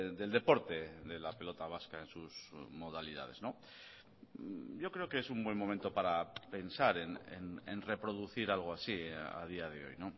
del deporte de la pelota vasca en sus modalidades yo creo que es un buen momento para pensar en reproducir algo así a día de hoy